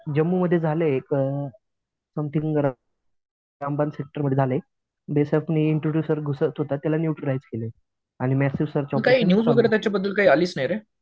जम्मूमध्ये झालं एक सेक्टरमध्ये झालंय. घुसत होता त्याला न्यूट्रीलाईझ केलंय. आणि मॅसिव्ह